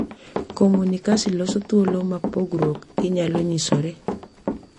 Komunikasi loso thuolo ma pogruok inyalo nyisore,